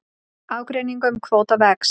Ágreiningur um kvóta vex